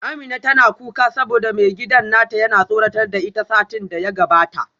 Amina tana kuka saboda maigidan nata yana tsoratar da ita satin da ya gabata